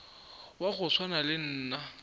wa go swana le nna